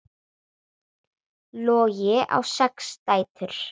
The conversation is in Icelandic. Logi á sex dætur.